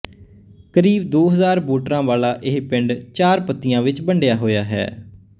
ਕਰੀਬ ਦੋ ਹਜ਼ਾਰ ਵੋਟਰਾਂ ਵਾਲਾ ਇਹ ਪਿੰਡ ਚਾਰ ਪੱਤੀਆਂ ਵਿੱਚ ਵੰਡਿਆ ਹੋਇਆ ਹੈ